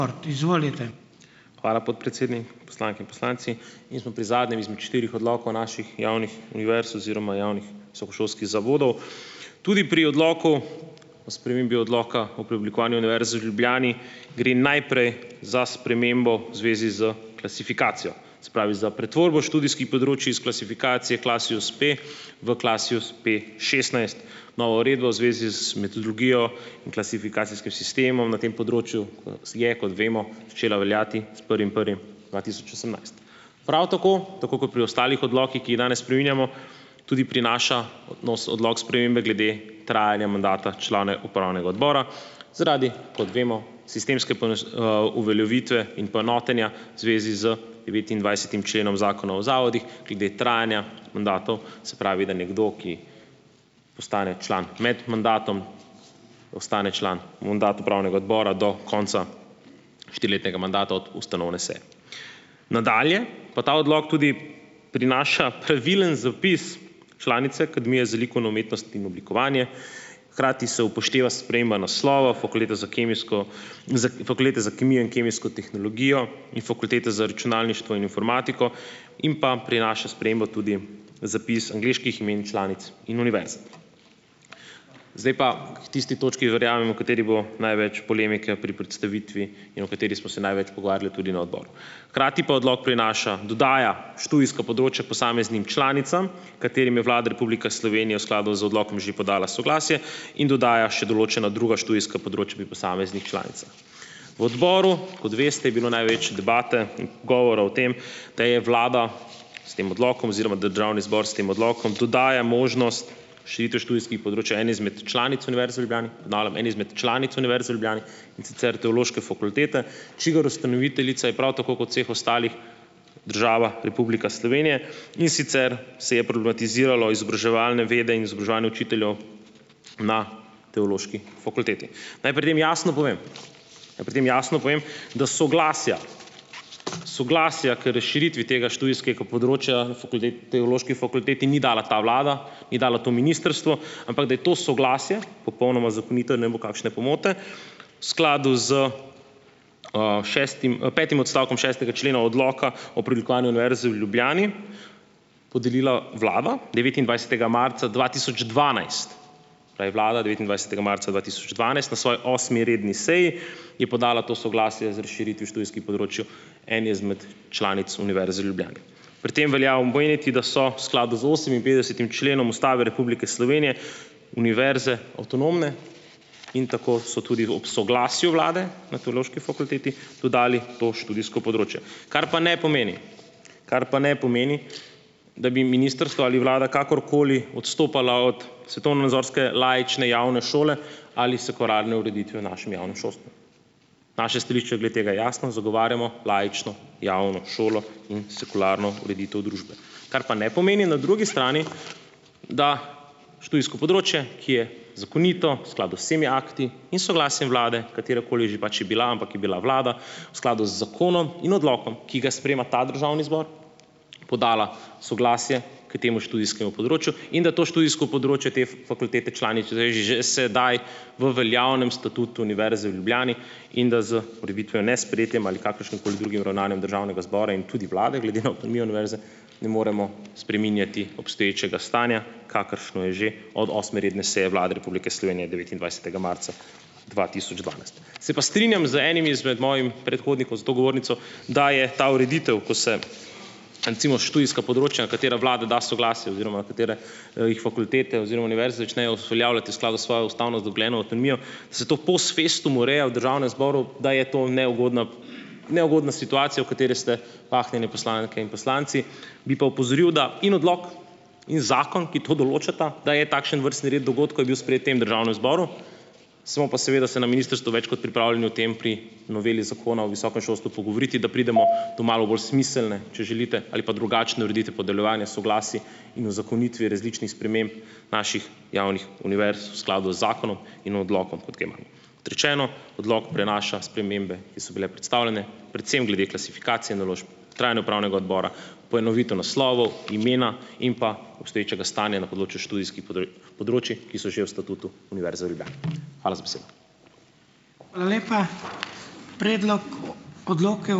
Hvala, podpredsednik. Poslanke in poslanci. In smo pri zadnjem izmed štirih odlokov naših javnih univerz oziroma javnih visokošolskih zavodov. Tudi pri Odloku o spremembi Odloka o preoblikovanju Univerze v Ljubljani gre najprej za spremembo v zvezi s klasifikacijo, se pravi za pretvorbo študijskih področij iz klasifikacije Klasius-P v Klasius-PA šestnajst. Nova uredba v zvezi, metodologijo in klasifikacijskim sistemom na tem področju, je, kot vemo, veljati s prvim prvim dva tisoč osemnajst. Prav tako, tako kot pri ostalih odlokih, ki jih danes spreminjamo, tudi prinaša nos odlok spremembe glede trajanja mandata člane upravnega odbora zaradi, kot vemo, sistemske uveljavitve in poenotenja v zvezi z devetindvajsetim členom Zakona o zavodih glede trajanja mandatov, se pravi, da nekdo, ki postane član med mandatom, ostane član upravnega odbora do konca štiriletnega mandata od ustanovne seje. Nadalje pa ta odlok tudi prinaša pravilen zapis članice Akademije za likovno umetnost in oblikovanje, hkrati se upošteva sprememba naslova Fakultete za kemijsko s Fakultete za kemijo in kemijsko tehnologijo in Fakultete za računalništvo in informatiko in pa prinaša sprememba tudi zapis angleških imen članic in univerz. Zdaj pa k tisti točki, verjamem, o kateri bo največ polemike pri predstavitvi in o kateri smo se največ pogovarjali tudi na odboru. Hkrati pa odlok prinaša, dodaja študijsko področje posameznim članicam, katerim je Vlada Republika Slovenije v skladu z odlokom že podala soglasje in dodaja še določena druga študijska področja pri posameznih V odboru, kot veste, je bilo največ debate in govora o tem, da je vlada s tem odlokom oziroma zbor s tem odlokom dodaja možnost širitve študijskih področij eni izmed članic Univerze v Ljubljani, ponavljam, eni izmed članic Univerze v Ljubljani, in sicer Teološke fakultete, čigar ustanoviteljica je prav tako kot vseh ostalih država Republika Slovenije, in sicer se je problematiziralo izobraževalne vede in izobraževanje učiteljev na teološki fakulteti. Naj pri tem jasno povem, naj pri tem jasno povem, da soglasja soglasja k razširitvi tega študijskega področja teološki fakulteti ni dala ta vlada, ni dalo to ministrstvo, ampak da je to soglasje popolnoma zakonito, ne bo kakšne pomote, skladu s, šestim, petim odstavkom šestega člena odloka o preoblikovanju Univerze v Ljubljani, podelila vlada devetindvajsetega marca dva tisoč dvanajst, da je vlada devetindvajsetega marca dva tisoč dvanajst na svoji osmi redni seji, je podala to soglasje z razširitvijo študijskih področij eni izmed članic Univerze v Ljubljani. Pri tem velja omeniti, da so v skladu z oseminpetdesetim členom Ustave Republike Slovenije univerze avtonomne in tako so tudi ob soglasju vlade na teološki fakulteti dodali to študijsko področje, kar pa ne pomeni, kar pa ne pomeni, da bi ministrstvo ali vlada kakorkoli odstopala od svetovnonazorske laične javne šole ali sekularne ureditve v našem javnem šolstvu. Naše stališče glede tega je jasno, zagovarjamo laično javno šolo in sekularno ureditev družbe. Kar pa ne pomeni na drugi strani, da študijsko področje, ki je zakonito, v skladu z vsemi akti in soglasjem vlade, katerakoli že pač je bila, ampak je bila vlada v skladu z zakonom in odlokom, ki ga sprejema ta državni zbor, podala soglasje k temu študijskemu področju, in da to študijsko področje te v veljavnem statutu Univerze v Ljubljani, in da z kakršnim koli drugim ravnanjem državnega zbora in tudi vlade glede na avtonomijo univerze ne moremo spreminjati obstoječega stanja, kakršno je že od osme redne seje Vlade Republike Slovenije devetindvajsetega marca dva tisoč dvanajst. Se pa strinjam z enim izmed mojih predhodnikov za to govornico, da je ta ureditev, ko se recimo študijska področja, na katera vlada da soglasje oziroma katere, jih fakultete oziroma univerze začnejo uveljavljati v skladu s svojo ustavno, se to post festum ureja v državnem zboru, da je to neugodna, neugodna situacija, v kateri ste pahnjene poslanke in poslanci. Bi pa opozoril, da in odlok in zakon, ki to določata, da je takšen vrstni red dogodkov, je bil sprejet tem državnem zboru, smo pa seveda se na ministrstvu več kot pripravljeni o tem pri noveli zakona o visokem šolstvu pogovoriti, da pridemo do malo bolj smiselne, če želite, ali pa drugačne ureditve podeljevanja soglasij in uzakonitve različnih sprememb naših javnih univerz v skladu z zakonom in odlokom, rečeno, odlok prenaša spremembe, ki so bile predstavljene, predvsem glede klasifikacije naložb, trajne upravnega odbora, poenovitev naslovov, imena in pa obstoječega stanja na področju študijskih področij, ki so že v statutu Univerze v Ljubljani. Hvala za besedo.